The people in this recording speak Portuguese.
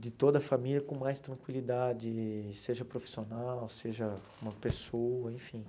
de toda a família com mais tranquilidade, seja profissional, seja uma pessoa, enfim.